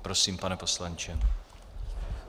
Prosím, pane poslanče.